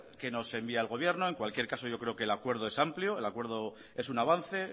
qué nos envía el gobierno en cualquier caso yo creo que el acuerdo es amplio el acuerdo es un avance